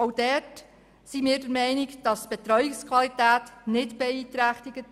Diesbezüglich sind wir der Meinung, die Betreuungsqualität sei nicht beeinträchtigt.